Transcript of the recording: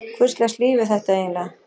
Hvurslags líf er þetta eiginlega?